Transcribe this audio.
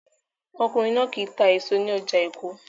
Ọkùnrin náà kì í ta èso ní ọjà Èkó